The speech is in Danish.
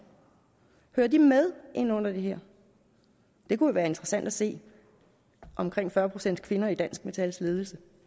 hører de med ind under det her det kunne være interessant at se omkring fyrre procent kvinder i dansk metals ledelse